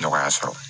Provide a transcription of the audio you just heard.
Nɔgɔya sɔrɔ